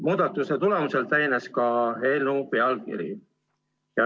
Muudatuse tulemusel täienes ka eelnõu pealkiri.